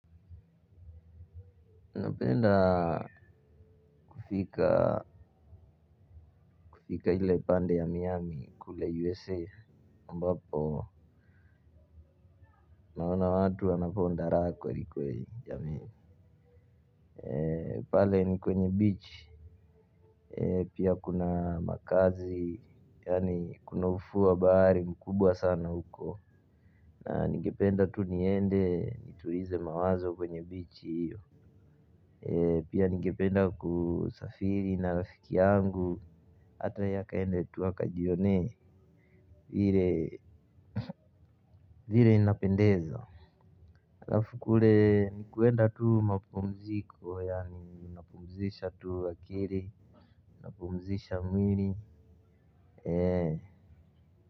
Napenda kufika kufika ile pande ya miami kule USA ambapo naona watu anaponda raha kwelikweli jamii pale kwenye bichi pia kuna makazi yaani kuna ufuo wa bahari mkubwa sana huko na ningependa tu niende nitulize mawazo kwenye beach hiyo pia ningependa kusafiri na rafiki yangu hata yeye akaende tu akajionee vile vile inapendeza halafu kule ni kuenda tu mapumziko ya napumzishe tu akili napumzisha mwili.